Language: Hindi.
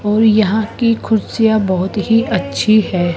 और यहां की कुर्सियां बहुत ही अच्छी है।